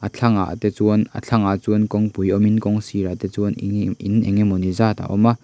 a thlangah te chuan a thlangah chuan kawngpui awm in kawngsirah te chuan in eng nge mawni zat a awm a.